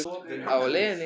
Á leiðinni?